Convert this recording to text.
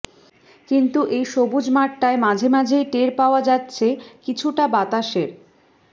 কিন্তু এই সবুজ মাঠটায় মাঝেমাঝেই টের পাওয়া যাচ্ছে কিছুটা বাতাসের